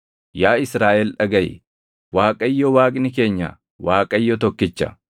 Yaa Israaʼel dhagaʼi; Waaqayyo Waaqni keenya Waaqayyo tokkicha.